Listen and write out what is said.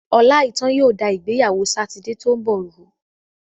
Ọláìítán yóò da ìgbéyàwó Sátidé tó ń bọ̀ rú.